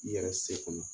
I yɛrɛ se kɔnɔ